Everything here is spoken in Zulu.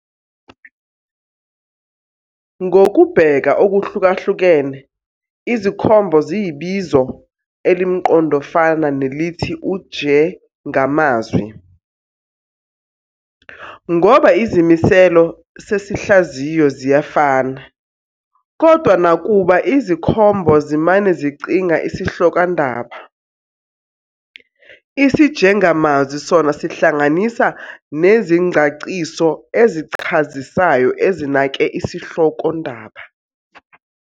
"Ngokubheka okuhlukahlukene, izikhombo ziyibizo elimqondofana nelithi ujengamazwi, ngoba izimiselo sesihlaziyo ziyafana, kodwana nakuba izikhombo zimane zicinga isihlokondaba, isijengamazwi sona sihlanganisa nezingcaciso ezichazisayo ezinake isihlokondaba."